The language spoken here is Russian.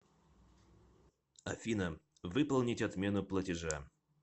афина выполнить отмену платежа